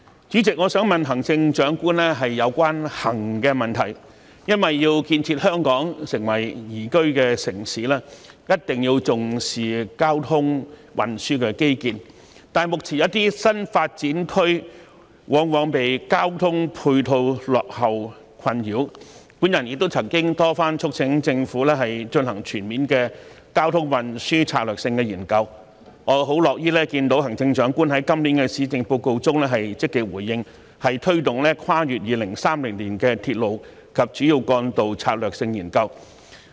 主席，我想問行政長官有關"行"的問題，因為要建設香港成為宜居的城市，一定要重視交通運輸的基建，但目前一些新發展區往往因交通配套落後而備受困擾，我亦曾多番促請政府進行全面的交通運輸策略性研究，我樂於看到行政長官在今年的施政報告中積極回應，推動《跨越2030年的鐵路及主要幹道策略性研究》。